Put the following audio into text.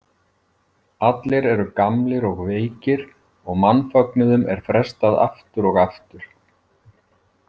Allir eru gamlir og veikir og mannfögnuðum er frestað aftur og aftur.